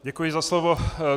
Děkuji za slovo.